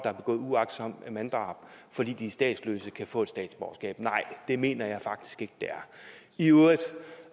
har begået uagtsomt manddrab fordi de er statsløse kan få et statsborgerskab nej det mener jeg faktisk ikke det er i øvrigt